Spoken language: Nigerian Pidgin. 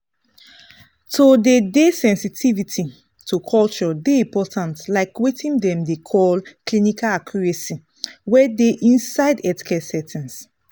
to dey dey sensitivity to culture dey important like weting dem dey call clinical accuracy wey dey inside healthcare settings.